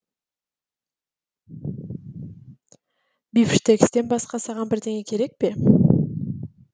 бифштекстен басқа саған бірдеңе керек пе